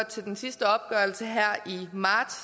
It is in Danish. til den sidste opgørelse her i marts